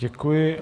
Děkuji.